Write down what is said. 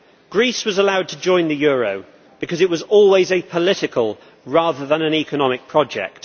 Greece was allowed to join the euro because it was always a political, rather than an economic, project.